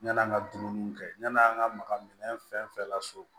Yann'an ka dumuniw kɛ yann'an ka maka minɛn fɛn fɛn laso